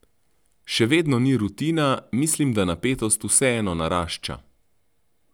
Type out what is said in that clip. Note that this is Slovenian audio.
Še vedno ni rutina, mislim da napetost vseeno narašča.